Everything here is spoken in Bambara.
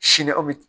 Sini aw bi